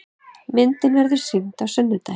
Myndin verður sýnd á sunnudaginn.